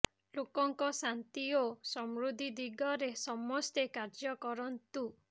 ଲୋକଙ୍କ ଶାନ୍ତି ଓ ସମୃଦ୍ଧି ଦିଗରେ ସମସ୍ତେ କାର୍ଯ୍ୟ କରନ୍ତୁ